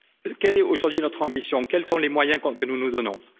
Quelle est, aujourd'hui, notre ambition, quels sont les moyens que nous nous donnons?